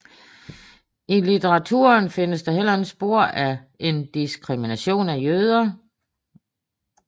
I litteraturen findes der heller ikke spor af en diskrimination af jøder